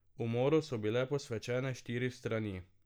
Umoru so bile posvečene štiri strani.